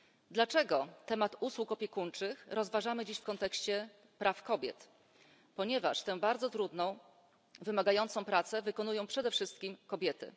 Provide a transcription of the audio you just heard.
Dlaczego temat usług opiekuńczych rozważamy dziś w kontekście praw kobiet? Ponieważ tę bardzo trudną, wymagającą pracę wykonują przede wszystkim kobiety.